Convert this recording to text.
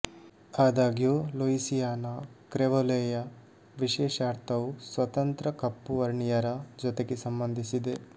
ಆದಾಗ್ಯೂ ಲೂಯಿಸಿಯಾನ ಕ್ರೆಒಲೇಯ ವಿಶೇಷ ಅರ್ಥವು ಸ್ವತಂತ್ರ ಕಪ್ಪು ವರ್ಣೀಯರ ಜೊತೆಗೆ ಸಂಬಂಧಿಸಿದೆ